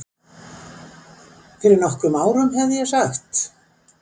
Fyrir nokkrum árum hefði ég sagt